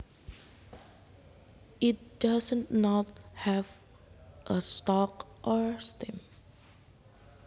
It does not have a stalk or stim